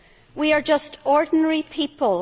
We are just ordinary people.